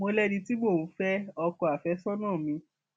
mo lẹni tí mò ń fẹ ọkọ àfẹsọnà mi